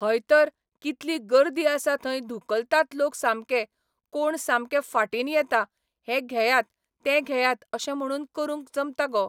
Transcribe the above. हय तर कितलीं गर्दी आसा थंय धुकलतात लोक सामके कोण सामके फाटीन येता हे घेयात ते घेयात तशें म्हणून करूंक जमता गो